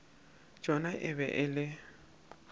tšona e be e le